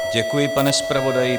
Děkuji, pane zpravodaji.